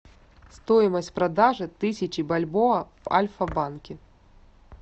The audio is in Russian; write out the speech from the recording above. стоимость продажи тысячи бальбоа в альфа банке